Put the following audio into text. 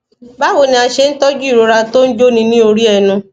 báwo ni a ṣe ń tọjú ìrora tó ń jóni ní orí ẹnu